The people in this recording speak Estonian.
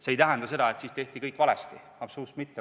See ei tähenda seda, et siis tehti kõik valesti – absoluutselt mitte.